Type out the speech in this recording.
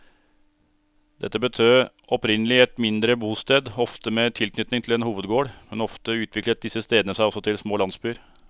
Dette betød opprinnelig et mindre bosted, ofte med tilknytning til en hovedgård, men ofte utviklet disse stedene seg også til små landsbyer.